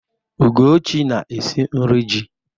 Ugochi na-esi nri ji.